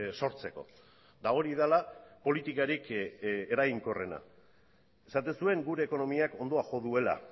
sortzeko eta hori dela politikarik eraginkorrena esaten zuen gure ekonomiak ondoa jo duela